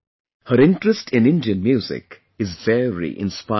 Her interest in Indian music is very inspiring